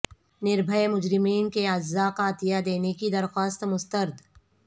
نربھئے مجرمین کے اعضاء کا عطیہ دینے کی درخواست مسترد